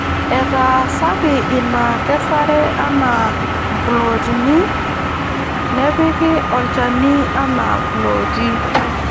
Etaasaki ina kesare anaa mplooti nepiki olchani anaa mplooti.